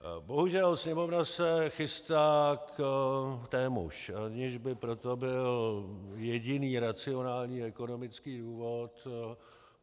Bohužel Sněmovna se chystá k témuž, aniž by pro to byl jediný racionální ekonomický důvod.